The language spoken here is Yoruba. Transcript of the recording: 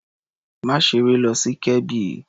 Má ṣeré lọ sí Kebbi.